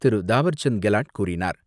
திரு தாவர்சந்த் கெலாட் கூறினார்.